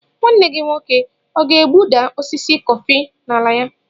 Nwanne gị nwoke ọ ga-egbuda osisi kọfị nọ n'ala ya?